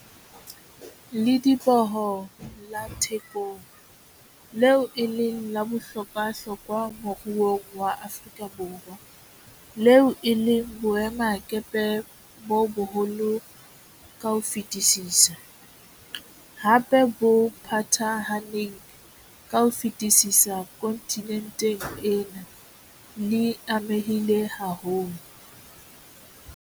Lediboho la Thekong, leo e leng la bohlokwahlokwa moruong wa Afrika Borwa, leo e leng boemakepe bo boholo ka ho fetisisa, hape bo phathahaneng ka ho fetisisa kontinenteng ena, le amehile haholo.